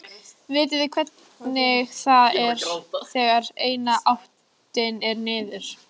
Vitið þið hvernig það er þegar eina áttin er niður?